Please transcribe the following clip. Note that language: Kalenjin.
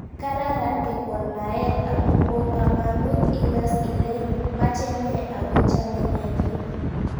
Kararan kekon naet amu po kamanut ikas ile mache nee akochame nee pik